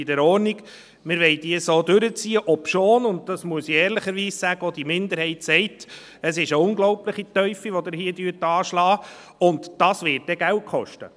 Wir wollen sie so durchziehen», obschon – und dies muss ich ehrlicherweise sagen – auch diese Minderheit sagt: «Es ist eine unglaubliche Tiefe, die Sie hier anschlagen, und das wird dann Geld kosten.